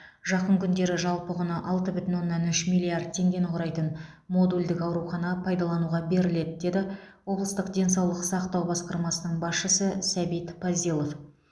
жақын күндері жалпы құны алты бүтін оннан үш миллиард теңгені құрайтын модульдік аурухана пайдалануға беріледі деді облыстық денсаулық сақтау басқармасының басшысы сәбит пазилов